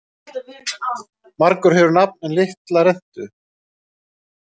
Margur hefur nafn en litla rentu.